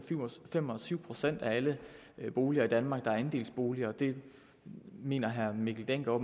fem og syv procent af alle boliger i danmark der er andelsboliger det mener herre mikkel dencker